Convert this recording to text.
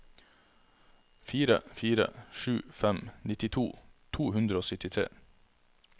fire fire sju fem nittito to hundre og syttitre